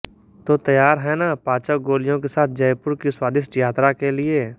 तो तैयार हैं न पाचक गोलियों के साथ जयपुर की स्वादिष्ट यात्रा के लिए